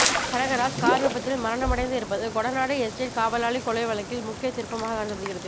Kanagaraj car விபத்தில் மரணமடைந்து இருப்பது கொடநாடு எஸ்டேட் காவலாளிக் கொலை வழக்கில் முக்கியத் திருப்பமாகக் கருதப்படுகிறது